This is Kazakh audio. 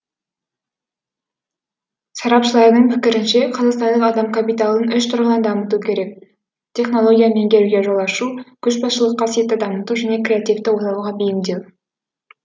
сарапшылардың пікірінше қазақстандық адам капиталын үш тұрғыдан дамыту керек технологияны меңгеруге жол ашу көшбасшылық қасиетті дамыту және креативті ойлауға бейімдеу